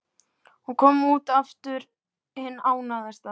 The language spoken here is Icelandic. Hún kom út aftur hin ánægðasta.